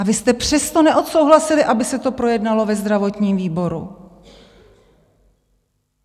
A vy jste přesto neodsouhlasili, aby se to projednalo ve zdravotním výboru.